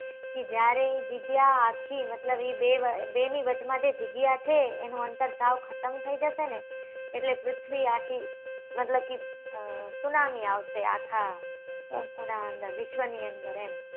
કે જ્યારે એ જગ્યા આખી મતલબ એ બે એ બે નાં વાચ માં જે જગ્યા છે એનું અંતર સાવ ખતમ થઇ જશે ને એટલે પૃથ્વી આખી મતલબ કે અ સુનામી આવશે આખા વિશ્વ ની અંદર એમ